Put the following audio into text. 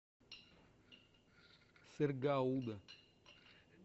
сыр гауда